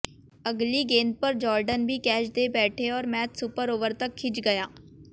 अगली गेंद पर जोर्डन भी कैच दे बैठे और मैच सुपर ओवर तक खिंच गया